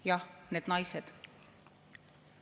Jah, need naised.